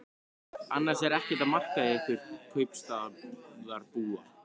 Annars er ekkert að marka ykkur kaupstaðarbúa.